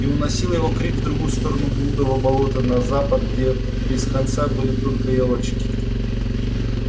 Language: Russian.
и уносил его крик в другую сторону блудова болота на запад где без конца были только ёлочки